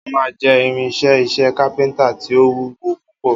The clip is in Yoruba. Ámà jé̩ irin-is̩é̩ is̩é̩ kápé̩ńtà tí ó wúwo púpò